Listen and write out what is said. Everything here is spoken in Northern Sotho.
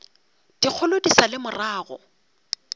dikgolo di sa le morago